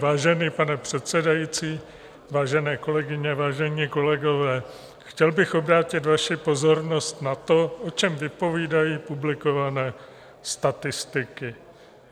Vážený pane předsedající, vážené kolegyně, vážení kolegové, chtěl bych obrátit vaši pozornost na to, o čem vypovídají publikované statistiky.